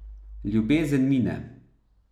Ljubezen mine.